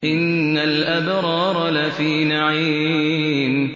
إِنَّ الْأَبْرَارَ لَفِي نَعِيمٍ